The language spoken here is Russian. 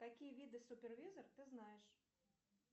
какие виды супервизор ты знаешь